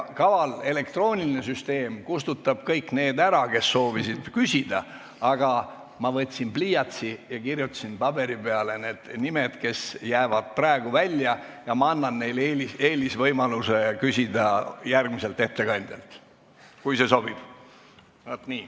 Kaval elektrooniline süsteem kustutab kõik need ära, kes soovisid küsida, aga ma võtsin pliiatsi ja kirjutasin paberi peale need nimed, kes jäid praegu välja, ning annan neile eelisvõimaluse küsida järgmiselt ettekandjalt, kui nii sobib.